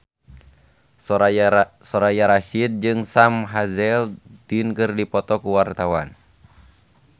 Soraya Rasyid jeung Sam Hazeldine keur dipoto ku wartawan